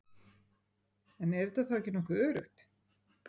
En er þetta þá ekki nokkuð öruggt?